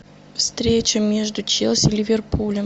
встреча между челси ливерпулем